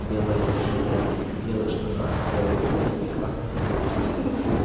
белой жилетке белых штанах белой обуви и красной футболке